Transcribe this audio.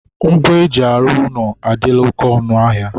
ngwa e ji arụ ụlọ adịla oke ọnụ ahịa.